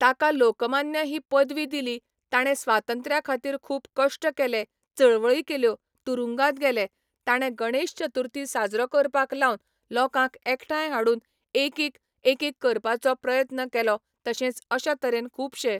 ताका लोकमान्य ही पदवी दिली ताणें स्वातंत्र्या खातीर खूब कश्ट केलें चळवळी केल्यो तुरुंगात गेले ताणे गणेश चतुर्थी साजरो करपाक लावन लोकांक एकठांय हाडून एकिक एकीक करपाचो प्रयत्न केलो तशेंच अश्या तरेन खूबशें